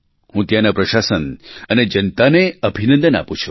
હું ત્યાંના પ્રશાસન અને જનતાને અભિનંદન આપું છું